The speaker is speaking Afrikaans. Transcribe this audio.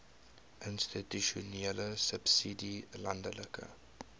institusionele subsidie landelike